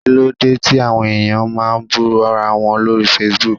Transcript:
Kíló dé tí àwọn ẹ̀yàn máa ń bú ra wọn lórí Facebook?